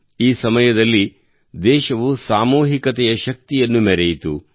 ಈ ಸಮಯದಲ್ಲಿ ದೇಶವು ಸಾಮೂಹಿಕತೆಯ ಶಕ್ತಿಯನ್ನು ಮೆರೆಯಿತು